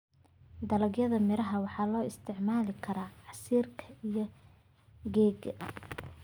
Dalagyada miraha waxaa loo isticmaali karaa sameynta casiirka iyo keegga.